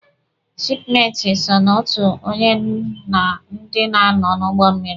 Shipmeti so na otu onye na ndị na-anọ n'ụgbọ mmịrị.